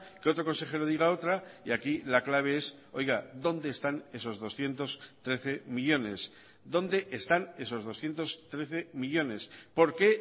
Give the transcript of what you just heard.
que otro consejero diga otra y aquí la clave es oiga dónde están esos doscientos trece millónes dónde están esos doscientos trece millónes por qué